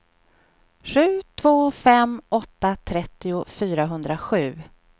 sju två fem åtta trettio fyrahundrasju